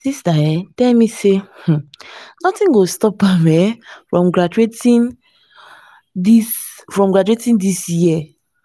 my sister um tell me say um nothing go stop am um from graduating dis from graduating dis year